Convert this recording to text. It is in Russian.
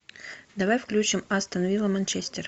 давай включим астон вилла манчестер